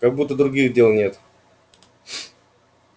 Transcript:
как будто других дел нет